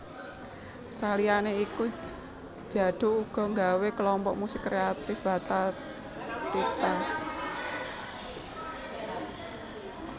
Saliyané iku Djaduk uga nggawé Klompok Musik Kreatif Wathathitha